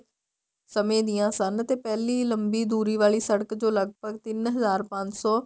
ਸਮੇਂ ਦੀਆ ਸਨ ਤੇ ਪਹਿਲੀ ਲੰਬੀ ਦੂਰੀ ਵਾਲੀ ਸੜਕ ਜੋ ਲੱਗਭਗ ਤਿੰਨ ਹਜ਼ਾਰ ਪੰਜ ਸੋ